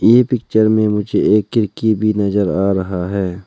ये पिक्चर में मुझे एक खिरकी भी नजर आ रहा है।